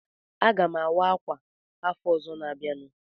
Aga m awa ákwà afọ ọzọ na-abịanụ.